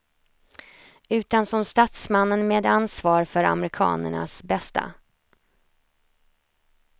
Utan som statsmannen med ansvar för amerikanernas bästa.